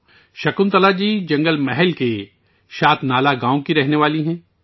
شکنتلا جی جنگل محل کے شتنالا گاؤں کی رہنے والی ہیں